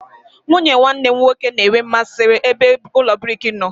Nwunye nwanne m nwoke na-enwe mmasị ebe ụlọ brik nọ.